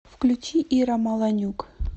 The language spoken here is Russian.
включи ира маланюк